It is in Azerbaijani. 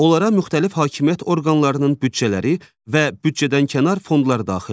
Onlara müxtəlif hakimiyyət orqanlarının büdcələri və büdcədənkənar fondlar daxildir.